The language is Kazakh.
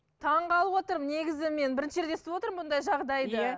таң қалып отырмын негізі мен бірінші рет естіп отырмын бұндай жағдайды иә